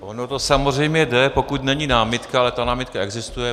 Ono to samozřejmě jde, pokud není námitka, ale ta námitka existuje.